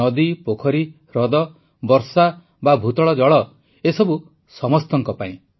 ନଦୀ ପୋଖରୀ ହ୍ରଦ ବର୍ଷା ବା ଭୂତଳ ଜଳ ଏସବୁ ସମସ୍ତଙ୍କ ପାଇଁ